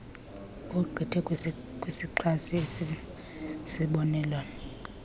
ogqithe kwisixa esisisibonelelo